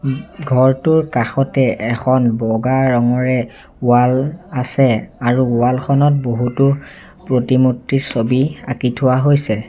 ঘৰটোৰ কাষতে এখন বগা ৰঙৰে ৱাল আছে আৰু ৱাল খনত বহুতো প্ৰতিমূৰ্তি ছবি আঁকি থোৱা হৈছে।